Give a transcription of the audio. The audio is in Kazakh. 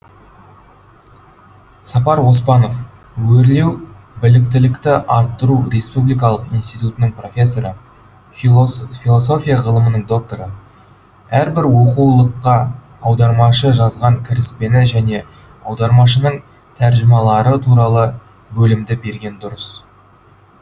сапар оспанов өрлеу біліктілікті арттыру республикалық институтының профессоры философия ғылымының докторы әрбір оқулыққа аудармашы жазған кіріспені және аудармашының тәржімалары туралы бөлімді берген дұрыс